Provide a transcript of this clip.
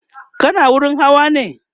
kana wurin Hawa ne?